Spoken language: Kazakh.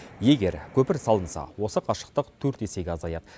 егер көпір салынса осы қашықтық төрт есеге азаяды